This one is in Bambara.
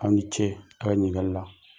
Aw ni ce a' ka ɲininkali la!